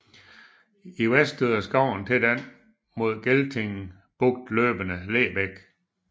I vest støder skoven til den mod Gelting Bugt løbende Lebæk